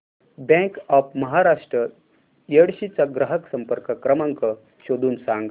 bank of Maharashtra Yedshi चा ग्राहक संपर्क क्रमांक शोधून सांग